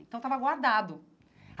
Então, estava guardado.